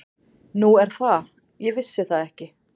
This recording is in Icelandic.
Nú er það, ég vissi það ekki.